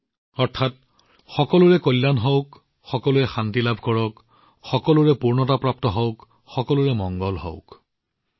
অৰ্থাৎ সকলোৰে কল্যাণ সকলোৰে বাবে শান্তি সকলোৰে বাবে পৰিপূৰ্ণতা তথা সকলোৰে বাবে কল্যাণ হব লাগে